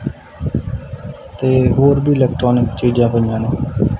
ਤੇ ਹੋਰ ਵੀ ਇਲੈਕਟ੍ਰੋਨਿਕ ਚੀਜਾਂ ਪਈਆਂ ਨੇਂ।